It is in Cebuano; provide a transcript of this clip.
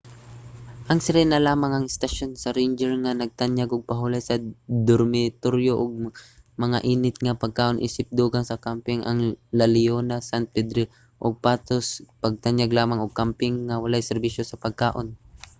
ang sirena lamang ang istasyon sa ranger nga nagtanyag og pahulay sa dormitoryo ug mga init nga pagkaon isip dugang sa kamping. ang la leona san pedrillo ug los patos nagtanyag lamang og kamping nga walay serbisyo sa pagkaon